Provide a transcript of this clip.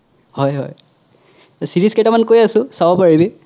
হয় হয় series কেইটামান কৈ আছো চাব পাৰিবি